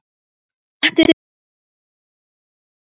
Sléttið toppinn með stórum spaða.